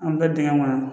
An bɛ taa dingɛ kɔnɔ